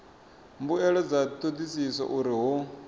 mbuelo dza thodisiso uri hu